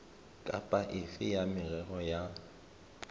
kapa efe ya merero ya